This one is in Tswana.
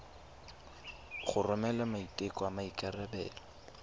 go romela maiteko a maikarebelo